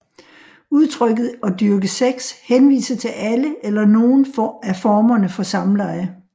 Udtrykket at dyrke sex henviser til alle eller nogle af formerne for samleje